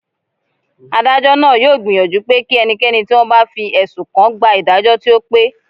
Adájọ́ náà yóò gbìyànjú pé kí ẹnikẹ́ni tí wọ́n bá fi ẹ̀sùn kàn gba ìdájọ́ tí ó pé